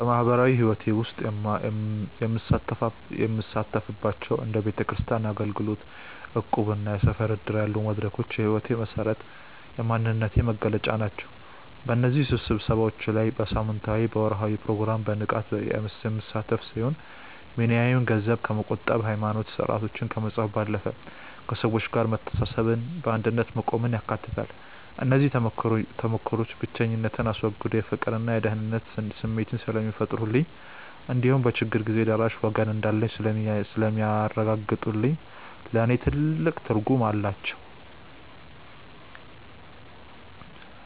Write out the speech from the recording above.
በማኅበራዊ ሕይወቴ ውስጥ የምሳተፍባቸው እንደ ቤተክርስቲያን አገልግሎት፣ እቁብና የሰፈር ዕድር ያሉ መድረኮች የሕይወቴ መሠረትና የማንነቴ መገለጫ ናቸው። በእነዚህ ስብሰባዎች ላይ በሳምንታዊና በወርኃዊ ፕሮግራም በንቃት የምሳተፍ ሲሆን፣ ሚናዬም ገንዘብ ከመቆጠብና ሃይማኖታዊ ሥርዓቶችን ከመፈጸም ባለፈ፣ ከሰዎች ጋር መተሳሰብንና በአንድነት መቆምን ያካትታል። እነዚህ ተሞክሮዎች ብቸኝነትን አስወግደው የፍቅርና የደህንነት ስሜት ስለሚፈጥሩልኝ እንዲሁም በችግር ጊዜ ደራሽ ወገን እንዳለኝ ስለሚያረጋግጡልኝ ለእኔ ትልቅ ትርጉም አላቸው።